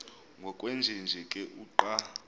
ngokwenjenje ke uqa